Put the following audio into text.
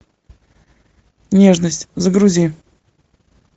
нежность загрузи